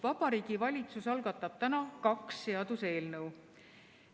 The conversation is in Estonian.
Vabariigi Valitsus algatab täna kaks seaduseelnõu.